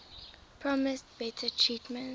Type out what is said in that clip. promised better treatment